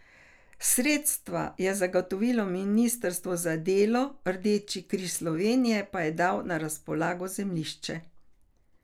Sredstva je zagotovilo ministrstvo za delo, Rdeči križ Slovenije pa je dal na razpolago zemljišče.